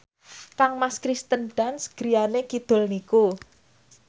kangmas Kirsten Dunst griyane kidul niku